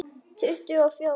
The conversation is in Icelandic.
Tuttugu og fjórir!